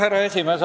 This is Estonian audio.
Härra esimees!